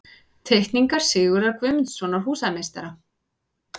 Teikningar Sigurðar Guðmundssonar, húsameistara.